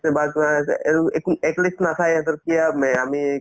ছে বা কিবা হৈছে এইটো একো